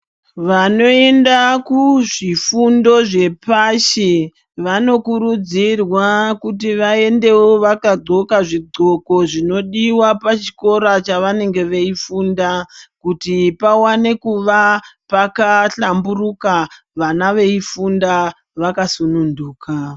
Vanoenda kuzvifundo zvepashi vanokurudzirwa kuti vaendewo vakadxoka zvidxoko zvinodiwa pachikora chavanenge veifunda kuti pawane kuva pakahlamburuka vana veifunda vakasununguka.